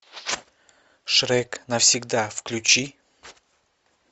шрек навсегда включи